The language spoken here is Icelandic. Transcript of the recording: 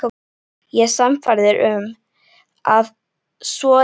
Ég er sannfærður um, að svo er ekki.